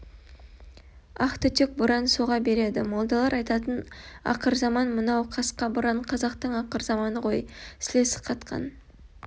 ақ түтек боран соға береді молдалар айтатын ақырзаман мынау қасқа боран қазақтың ақырзаманы ғой сілесі қатқан